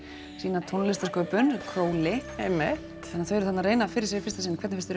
sína tónlistarsköpun einmitt þau eru þarna að reyna fyrir sér í fyrsta sinn hvernig finnst